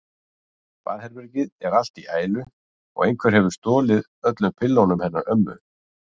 Baðherbergið er allt í ælu og einhver hefur stolið öllum pillunum hennar ömmu.